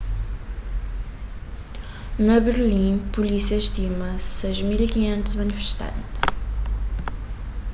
na berlin pulísia stima 6.500 manifestantis